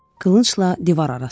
Qılıncla divar arasında.